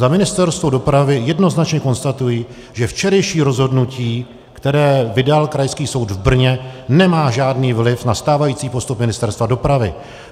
Za Ministerstvo dopravy jednoznačně konstatuji, že včerejší rozhodnutí, které vydal Krajský soud v Brně, nemá žádný vliv na stávající postup Ministerstva dopravy.